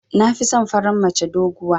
Nafison farar mace doguwa.